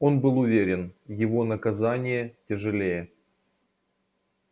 он был уверен его наказание тяжелее